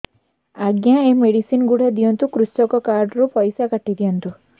ଆଜ୍ଞା ଏ ମେଡିସିନ ଗୁଡା ଦିଅନ୍ତୁ କୃଷକ କାର୍ଡ ରୁ ପଇସା କାଟିଦିଅନ୍ତୁ